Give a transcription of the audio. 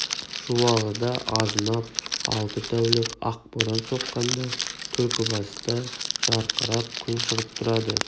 жуалыда азынап алты тәулік ақ боран соққанда түлкібаста жарқырап күн шығып тұрады